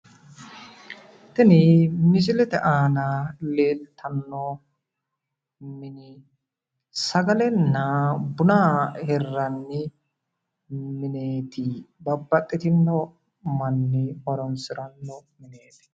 tini misilete aana leeltanno sagalenna buna hirranni mine babbxxitinno manni horonsiranno